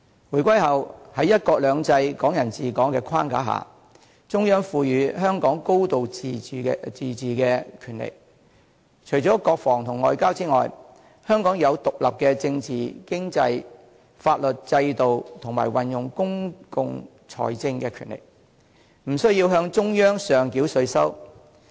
回歸後，在"一國兩制"、"港人治港"的框架下，中央賦予香港"高度自治"的權力，除了國防和外交外，香港擁有獨立的政治、經濟和法律制度，以及運用公共財政的權力，不需要向中央上繳稅收。